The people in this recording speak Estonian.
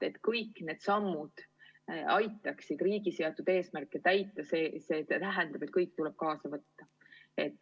Et kõik need sammud aitaksid riigi seatud eesmärke täita, tuleb kõik inimesed kaasa haarata.